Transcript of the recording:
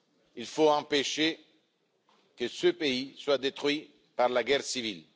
il faut empêcher que ce pays soit détruit par la guerre civile.